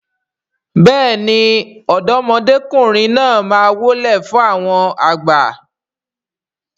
béèni ọ̀dọ́mọkùnrin náà má wólẹ̀ fún àwọn àgbà.